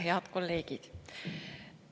Head kolleegid!